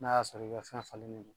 N'a y'a sɔrɔ i ka fɛn falennen do